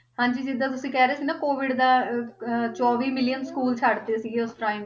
ਹਾਂਜੀ ਜਿੱਦਾਂ ਤੁਸੀਂ ਕਹਿ ਰਹੇ ਸੀ ਨਾ COVID ਦਾ ਅਹ ਅਹ ਚੌਵੀ million school ਛੱਡ ਦਿੱਤੇ ਸੀਗੇ ਉਸ time